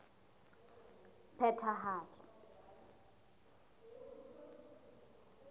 phethahatso